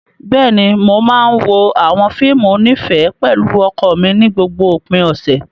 Bẹ́ẹ̀ni, mo máa ń wo àwọn fíìmù onífẹ̀ẹ́ pẹ̀lú ọkọ mi ní gbogbo òpin ọ̀sẹ̀.